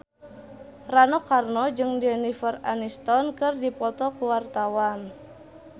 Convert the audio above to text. Rano Karno jeung Jennifer Aniston keur dipoto ku wartawan